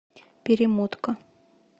перемотка